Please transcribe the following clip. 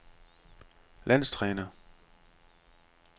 landstræner